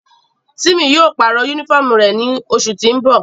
Timi yóò parọ unifọmú rẹ ni oṣu ti n bọ.